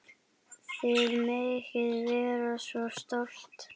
Þið megið vera svo stolt.